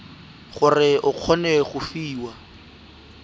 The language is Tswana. gore o kgone go fiwa